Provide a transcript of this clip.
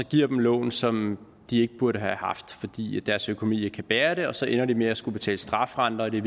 giver dem lån som de ikke burde have haft fordi deres økonomi ikke kan bære det så ender de med at skulle betale strafrenter og det